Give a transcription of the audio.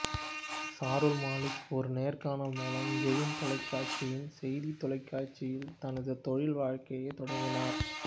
சாருல் மாலிக் ஒரு நேர்காணல் மூலம் ஜெயின் தொலைக்காட்சியின் செய்தி தொலைக்காட்சியில் தனது தொழில் வாழ்க்கையைத் தொடங்கினார்